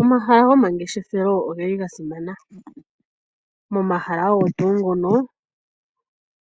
Omahala gomangeshefelo ogeli gasimana, momahala ogo tuu ngono